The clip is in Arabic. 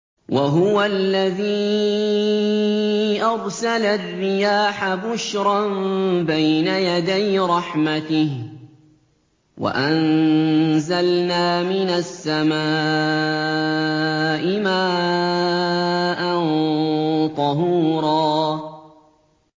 وَهُوَ الَّذِي أَرْسَلَ الرِّيَاحَ بُشْرًا بَيْنَ يَدَيْ رَحْمَتِهِ ۚ وَأَنزَلْنَا مِنَ السَّمَاءِ مَاءً طَهُورًا